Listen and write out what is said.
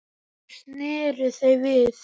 Þá sneru þau við.